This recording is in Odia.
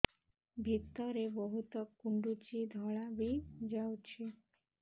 ଭିତରେ ବହୁତ କୁଣ୍ଡୁଚି ଧଳା ବି ଯାଉଛି